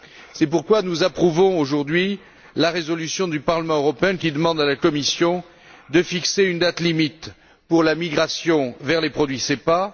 C'est pourquoi nous approuvons aujourd'hui la résolution du Parlement européen qui demande à la Commission de fixer une date limite pour la migration vers les produits SEPA.